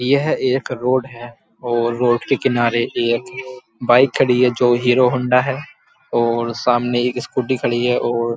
यह एक रोड है और रोड के किनारे एक बाइक खड़ी है जो हीरो हौंडा है और सामने एक स्कूटी खड़ी है और --